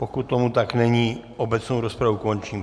Pokud tomu tak není, obecnou rozpravu končím.